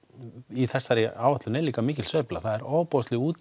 í þessari áætlun er líka mikil sveifla það er ofboðslega